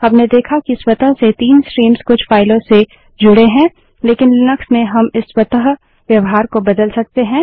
हमने देखा कि स्वतः से 3 स्ट्रीम्स कुछ फाइलों से जुड़ें हैं लेकिन लिनक्स में हम इस स्वतः व्यवहार को बदल सकते हैं